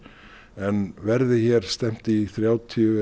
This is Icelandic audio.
en verði hér stefnt í þrjátíu